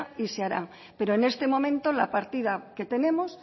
y se hará pero en este momento la partida que tenemos